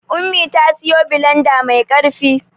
Ummi ta siyo bilanda mai ƙarfi.